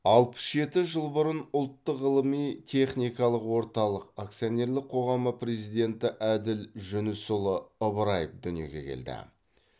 алпыс жеті жыл бұрын ұлттық ғылыми техникалық орталық акционерлік қоғамы президенті әділ жүнісұлы ыбыраев дүниеге келді